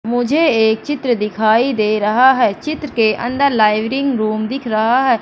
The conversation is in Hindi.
मुझे एक चित्र दिखाई दे रहा है चित्र के अंदर लाइव रिंग रूम दिख रहा है।